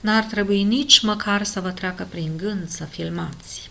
n-ar trebui nici măcar să vă treacă prin gând să filmați